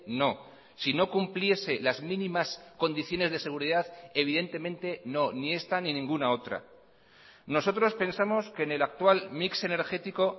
no si no cumpliese las mínimas condiciones de seguridad evidentemente no ni esta ni ninguna otra nosotros pensamos que en el actual mix energético